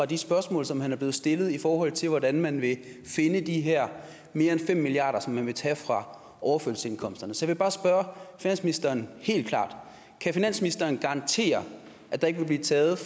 de spørgsmål som han er blevet stillet i forhold til hvordan man vil finde de her mere end fem milliard kr som man vil tage fra overførselsindkomsterne så jeg vil bare spørge finansministeren helt klart kan finansministeren garantere at der ikke vil blive taget